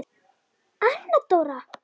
Anna Dóra!